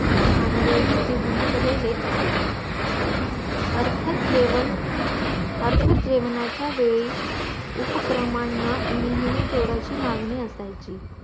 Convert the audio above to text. भानगडींचे गुंतलेले असे अर्थात जेवण अर्थात जेवणाचा वेळी उपक्रमांना नेहमी जोराची मागणी असायची